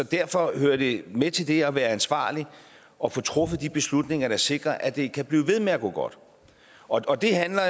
derfor hører det med til det at være ansvarlig at få truffet de beslutninger der sikrer at det kan blive ved med at gå godt og det handler